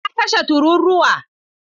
Na kashe tururuwa.